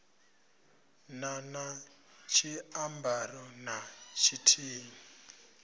na na tshiambaro na tshithihi